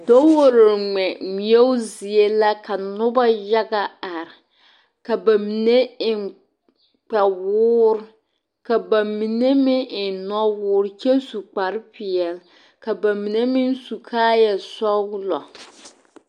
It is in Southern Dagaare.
Dowore ŋmɛ ŋmeɛo zie la ka noba yaga are ka ba mine eŋ kpawoore ka na mine meŋ eŋ nɔwoore kyɛ su kpare pelaa ka ba mine meŋ su kaaya sɔglɔ.